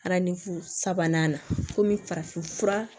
Arafu sabanan komi farafin fura